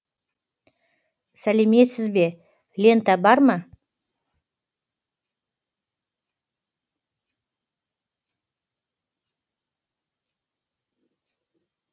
сәлеметсіз бе лента бар ма